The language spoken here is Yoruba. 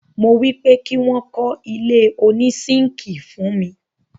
mo wípé kí wọ́n kọ́ ilé òní sínkíì fún mi.